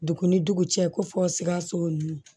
Dugu ni dugu cɛ ko fo sikaso nunnu